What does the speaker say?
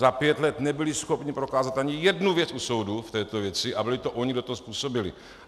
Za pět let nebyly schopny prokázat ani jednu věc u soudu v této věci a byly to ony, kdo to způsobily.